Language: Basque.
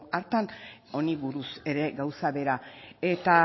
hartan honi buruz ere gauza bera eta